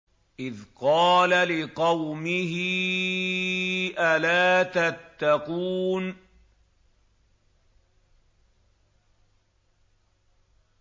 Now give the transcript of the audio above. إِذْ قَالَ لِقَوْمِهِ أَلَا تَتَّقُونَ